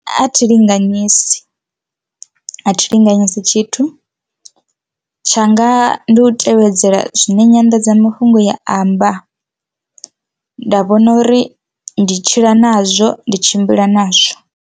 A thi linganyisa athi linganyisa tshithu tshanga ndi u tevhedzela zwine nyanḓadzamafhungo ya amba nda vhona uri ndi tshila nazwo, ndi tshimbila nazwo.